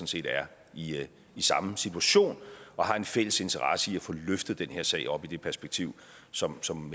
set er i samme situation og har en fælles interesse i at få løftet den her sag op i det perspektiv som som